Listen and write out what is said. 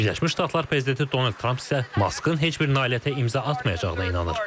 Birləşmiş Ştatlar prezidenti Donald Tramp isə Maskın heç bir nailiyyətə imza atmayacağına inanır.